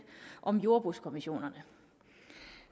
om jordbrugskommissionerne